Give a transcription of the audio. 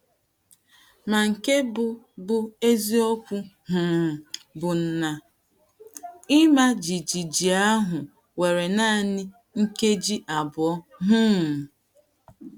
Mà nke bụ́ bụ́ eziokwu um bụ na ị̀mà jijiji ahụ were nanị nkéji abụọ um.